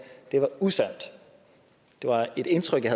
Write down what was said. det var usandt det var et indtryk jeg